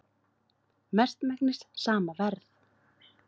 Mestmegnis sama verð